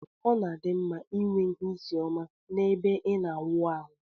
Ọna adimma inwe ihe isi ọma na ebe ina awụ arụ.